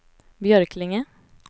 Björklinge